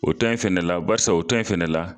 O to in fɛnɛ la barisa o ta in fɛnɛ la